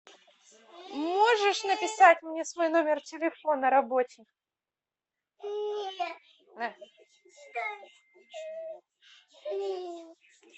можешь написать мне свой номер телефона рабочий